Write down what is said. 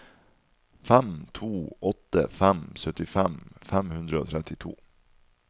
fem to åtte fem syttifem fem hundre og trettito